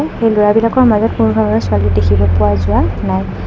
এই ল'ৰাবিলাকৰ মাজত কোনো ধৰণৰ ছোৱালী দেখিব পোৱা যোৱা নাই।